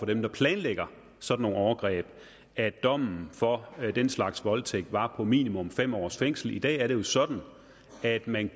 dem der planlægger sådan nogle overgreb at dommen for den slags voldtægter var på minimum fem års fængsel i dag er det jo sådan at man